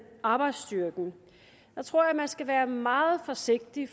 arbejdsstyrken tror jeg man skal være meget forsigtig